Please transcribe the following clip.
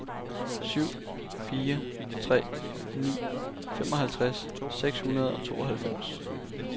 syv fire tre ni femoghalvtreds seks hundrede og tooghalvfems